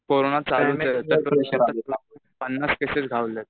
Corona पन्नास cases घावलेत.